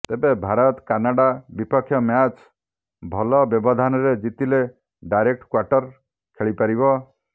ତେବେ ଭାରତ କାନାଡା ବିପକ୍ଷମ୍ୟାଚ୍ ଭଲ ବ୍ୟବଧାନରେ ଜିତିଲେ ଡାଇରେକ୍ଟ କ୍ବାଟର ଖେଳିପାରିବ